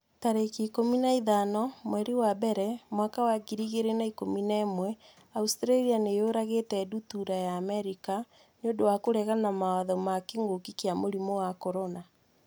tarĩki ikũmi na ithano mweri wa mbere mwaka wa ngiri igĩrĩ na ikũmi na ĩmweAustralia nĩ yũragĩte ndutura ya Amerika 'nĩ ũndũ wa kũregana mawatho ma kĩngũki kia mũrimũ wa CORONA